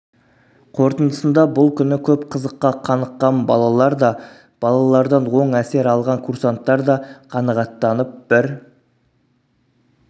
қорытындысында бұл күні көп қызыққа қаныққан балалар да балалардан оң әсер алған курсанттар да қанағаттанып бір